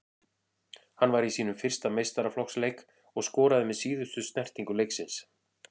Hann var í sínum fyrsta meistaraflokksleik og skoraði með síðustu snertingu leiksins.